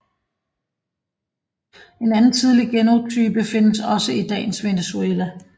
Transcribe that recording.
En anden tidlig genotype findes også i dagens Venezuela